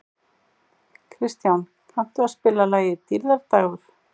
Kristján, kanntu að spila lagið „Dýrðardagur“?